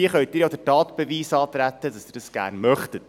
Hier können Sie ja den Tatbeweis antreten, dass Sie das gerne möchten.